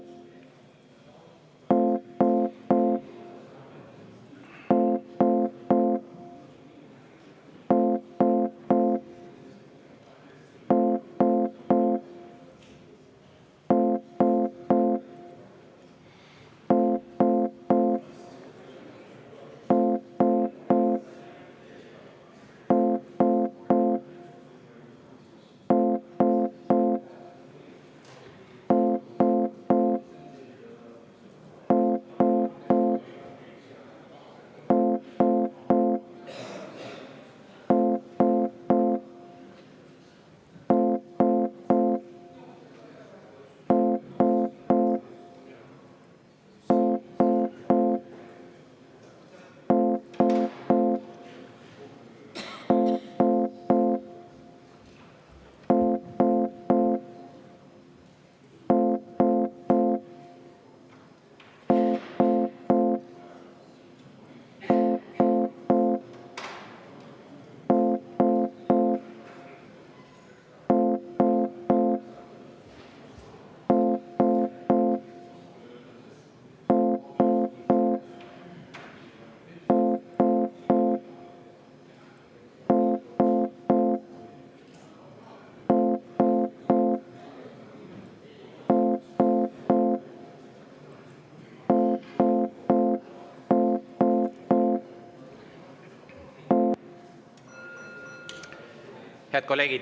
Head kolleegid!